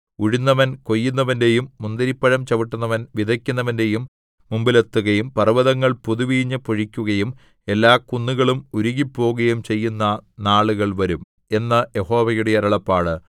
ഉഴുന്നവൻ കൊയ്യുന്നവന്റെയും മുന്തിരിപ്പഴം ചവിട്ടുന്നവൻ വിതയ്ക്കുന്നവന്റെയും മുമ്പിലെത്തുകയും പർവ്വതങ്ങൾ പുതുവീഞ്ഞ് പൊഴിക്കുകയും എല്ലാ കുന്നുകളും ഉരുകിപ്പോകുകയും ചെയ്യുന്ന നാളുകൾ വരും എന്ന് യഹോവയുടെ അരുളപ്പാട്